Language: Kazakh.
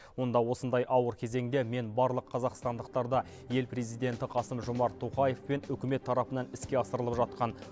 онда осындай ауыр кезеңде мен барлық қазақстандықтарды ел президенті қасым жомарт тоқаевпен үкімет тарапынан іске асырылып жатқан